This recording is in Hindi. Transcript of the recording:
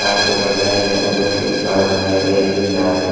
वो लोग कोई पढ़ रहे हैं कोई लिख रहा है।